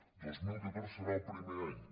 el dos mil catorze serà el primer any